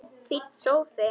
Fínn sófi!